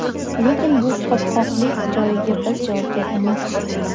Lekin bu qopqoqlik joyga biz javobgar emasmiz.